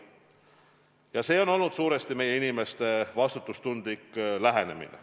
Ja see on olnud suuresti tänu meie inimeste vastutustundlikule lähenemisele.